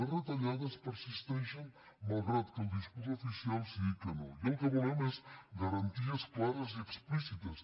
les retallades persisteixen malgrat que el discurs oficial sigui que no i el que volem són garanties clares i explícites